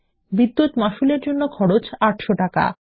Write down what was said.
বিদ্যুৎ মাশুল এর জন্য খরচ ৮০০ টাকা